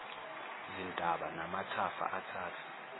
zintaba namathafa athatha